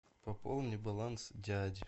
пополни баланс дяди